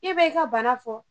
I be i ka bana fɔ.